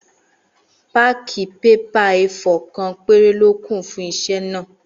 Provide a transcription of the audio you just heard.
Páákì pépà éefọ̀r kan péré lókù fún isé náà